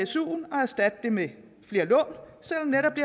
suen og erstatte det med flere